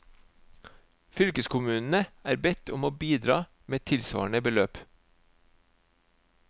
Fylkeskommunene er bedt om å bidra med tilsvarende beløp.